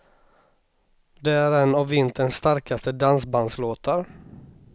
Det är en av vinterns starkaste dansbandslåtar.